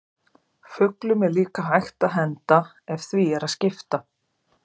Fuglum er líka hægt að henda ef því er að skipta.